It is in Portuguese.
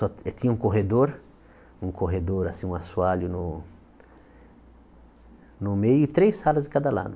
To tinha um corredor, um corredor, assim, um assoalho no no meio e três salas de cada lado.